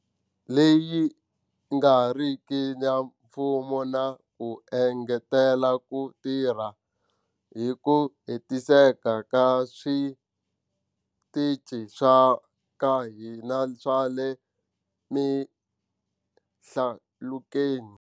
Leyi nga riki ya mfumo na ku engetela ku tirha hi ku hetiseka ka switichi swa ka hina swa le mihlalukweni.